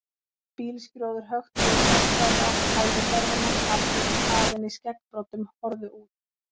Bílskrjóður hökti úr gagnstæðri átt, hægði ferðina, andlit kafin í skeggbroddum horfðu út.